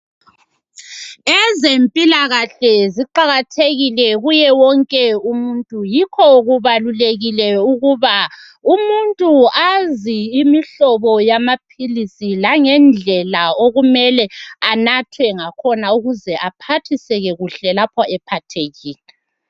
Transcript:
Ezempilakahle ziqakathekile kuye wonke umuntu .Yikho kubalulekile ukuba umuntu azi Imihlobo yamaphilisi langendlela okumele anathwe ngakhona .Ukuze aphathiseke kuhle lapho ephathekile .